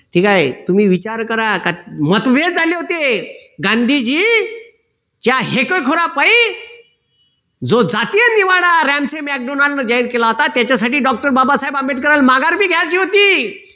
ठीक आहे. तुम्ही विचार करा. मतभेद झाले होते. गांधीजी च्या हेखेखोरापायी जो जातीय निवाडा जाहीर केला होता त्याच्यासाठी doctor बाबासाहेब आंबेडकरांना माघार पण घ्यायची होती